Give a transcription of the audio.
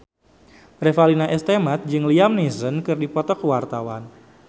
Revalina S. Temat jeung Liam Neeson keur dipoto ku wartawan